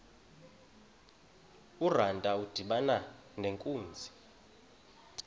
urantu udibana nenkunzi